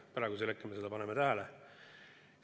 Praegu me paneme seda tähele.